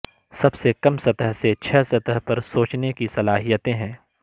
سب سے کم سطح سے چھ سطح پر سوچنے کی صلاحیتیں ہیں